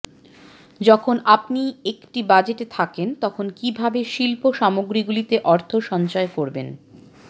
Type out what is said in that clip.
যখন আপনি একটি বাজেটে থাকেন তখন কীভাবে শিল্প সামগ্রীগুলিতে অর্থ সঞ্চয় করবেন